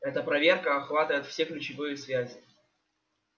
эта проверка охватывает все ключевые связи